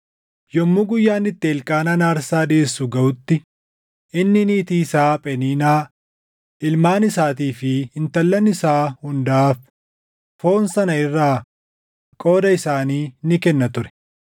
Yommuu guyyaan itti Elqaanaan aarsaa dhiʼeessu gaʼutti inni niitii isaa Pheniinaa, ilmaan isaatii fi intallan isaa hundaaf foon sana irraa qooda isaanii ni kenna ture.